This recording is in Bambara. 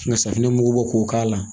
Nka safinɛmugu bɔ k'o k'a la